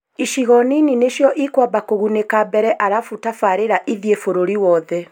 icigo nini nĩcio ikwamba kũgunĩka mbere arabu tabarĩra ithiĩ bũrũri wothe